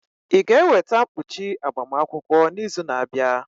Ị ga-eweta mkpuchi agbamakwụkwọ n'izu na-abịa?